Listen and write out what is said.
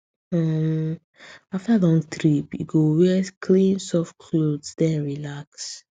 um after long trip e go wear clean soft clothes then relax